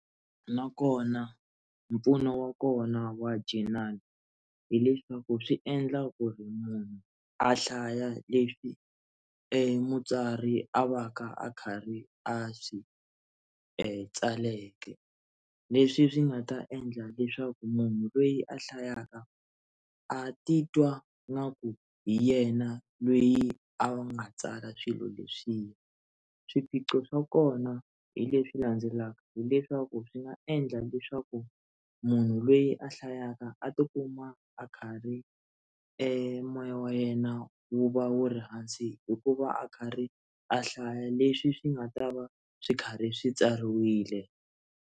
Nakona mpfuno wa kona wa journal hileswaku swi endla ku ri munhu a hlaya leswi emutswari a va ka a karhi a swi e tsaleke leswi swi nga ta endla leswaku munhu lweyi a hlayaka a titwa nga ku hi yena lweyi a va nga tsala swilo leswiya swiphiqo swa kona hi leswi landzelaka hileswaku swi nga endla leswaku munhu lweyi a hlayaka a tikuma a karhi emoya wa yena wu va wu ri hansi hikuva a karhi a hlaya leswi swi nga ta va swi karhi swi tsariwile.